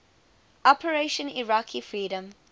operation iraqi freedom